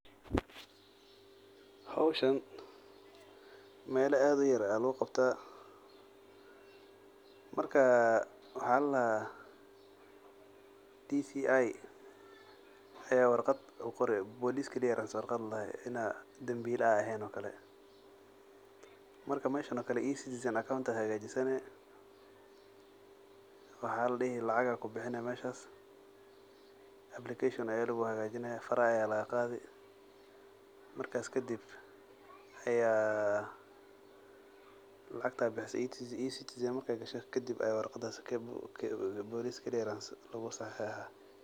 Howshan, mela ad uyar aa laguqabtah, marka waxaa ladahaa DCI aya warqad kusoqori police clearance warqad ladahay in ad dambvila ehen oo kale , marka meshan oo kale E-citizen account aa hagajisani maxaa ladihi lacag aa kubixini meshan , application aa luguhagajini lacag aa lagaqadi, E-citizen markay gasho kadib aa warqadas police clearance lugusaxixah.